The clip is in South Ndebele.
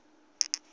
abokholiwe